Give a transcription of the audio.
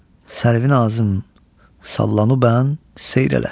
Sərvinazım sallanıbən seyr elə.